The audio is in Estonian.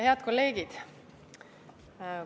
Head kolleegid!